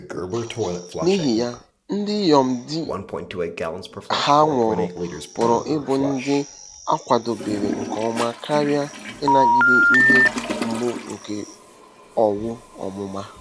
N'ihi ya, ndị inyom di ha nwụrụ pụrụ ịbụ ndị a kwadebere nke ọma karị ịnagide ihe mgbu nke owu ọmụma.